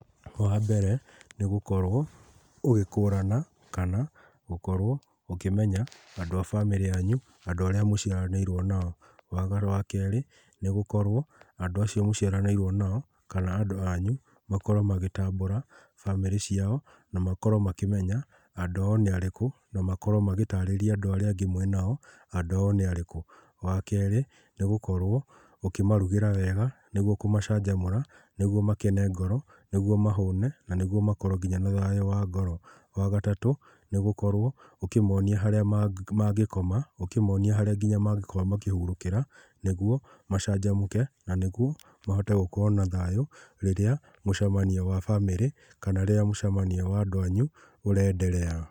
Wa mbere nĩ gũkorwo ũgĩkũrana kana gũkorwo ũkĩmenya andũ a bamĩrĩ yanyu, andũ arĩa mũciaranĩirwo nao. Wa kerĩ, nĩgũkorwo andũ acio mũciaranĩirwo nao, kana andũ anyũ makorwo magĩtambũra bamĩrĩ ciao na makorwo makĩmenya andũ ao nĩ arĩkũ, na makorwo magĩtarĩria andũ arĩa angĩ mwĩnao andũ ao nĩ arĩkũ. Wa kerĩ, nĩ gũkorwo ũkĩmarugĩra wega, nĩguo kũmacanjamũra, nĩguo makene ngoro, nĩguo mahũne na nĩguo makorwo nginya na thayũ wa ngoro. Wa gatatũ nĩ gũkorwo ũkĩmonia harĩa mangĩkoma, ũkĩmonia harĩa nginya mangĩkorwo makĩhurũkĩra, nĩguo macanjamũke na nĩguo mahote gũkorwo na thayũ rĩrĩa mũcemanio wa bamĩrĩ, kana rĩrĩa mũcemanio wa andũ anyu ũrenderea.